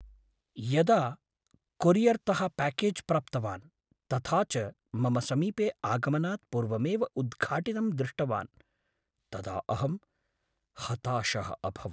यदा कोरियर्तः प्याकेज् प्राप्तवान्, तथा च मम समीपे आगमनात् पूर्वमेव उद्घाटितं दृष्टवान्, तदा अहं हताशः अभवम्।